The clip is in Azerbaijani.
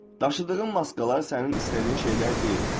Daşıdığın maskalar sənin istədiyin şeylər deyil.